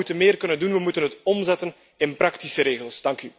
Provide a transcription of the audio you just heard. Maar we moeten meer kunnen doen. We moeten het omzetten in praktische regels.